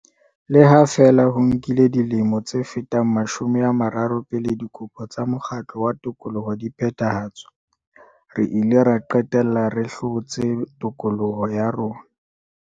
Le ha feela ho nkile dilemo tse fetang mashome a mararo pele dikopo tsa mokgatlo wa tokoloho di phethahatswa, re ile ra qetella re hlotse tokoloho ya rona.